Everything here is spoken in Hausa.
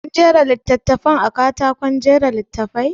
An jera littattafan a katakon jera littafi?